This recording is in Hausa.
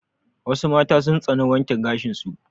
Wassu mata sun tsani wanke gashin su